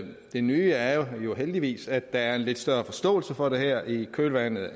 det nye er jo heldigvis at der er en lidt større forståelse for det her i kølvandet